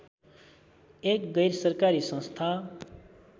एक गैरसरकारी संस्था